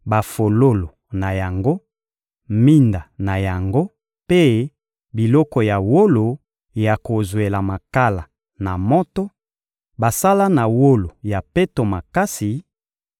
bafololo na yango, minda na yango mpe biloko ya wolo ya kozwela makala na moto, basala na wolo ya peto makasi;